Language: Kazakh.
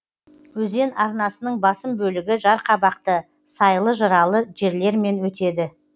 өзен арнасының басым бөлігі жарқабақты сайлы жыралы жерлермен өтеді